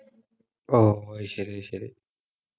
ഓ അത് ശരി അത് ശരി